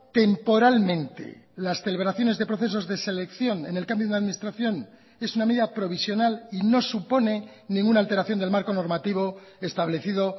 temporalmente las celebraciones de procesos de selección en el cambio de la administración es una medida provisional y no supone ninguna alteración del marco normativo establecido